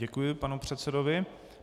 Děkuji panu předsedovi.